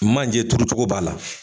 Manje turucogo b'a la